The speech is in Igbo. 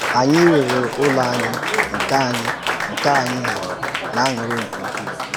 Anyị rere Ụ́lọ̀ anyị, nke anyị, nke anyị hụrụ̀ n’ànụ́rị́ nke ukwuu.